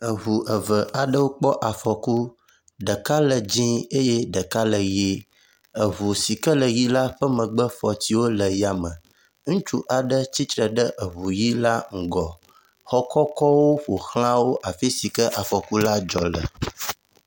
eʋu eve aɖewo kpɔ afɔku, ɖeka le dzĩ eye ɖeka le yi, eʋu sike le yi la ƒe megbefɔtsiwo le yame , ŋutsu aɖe tsitsre ɖe eʋu yi la ŋgɔ xɔ kɔkɔwo ƒoxlãwo afisi afɔku la dzɔ le